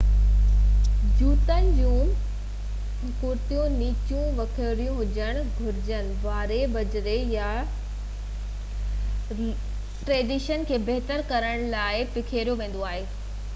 جوتن جون کُڙيون ننچيون ۽ ويڪريون هجڻ گهرجن. واري، بجري يا لوڻ ڪئلشيم ڪلورائيڊ اڪثر ڪري رستن يا روڊن تي ٽريڪشن کي بهتر ڪرڻ لاءِ پکيڙيو ويندو آهي